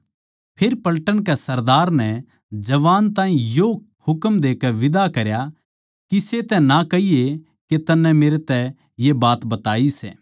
फेर पलटन के सरदार नै जवान ताहीं यो हुकम देकै बीदा करया किसे तै ना कहिये के तन्नै मेरै तै ये बात बताई सै